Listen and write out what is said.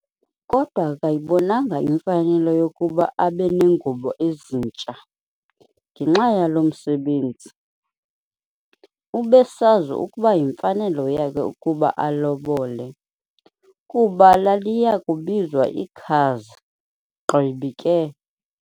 Kodwa akayibonanga imfanelo yokuba abe nengubo ezintsha, ngenxa yalo msebenzi. ubesazi ukuba yimfanelo yakhe ukuba alobole, kuba laliyakubizwa ikhazi, gqibi ke.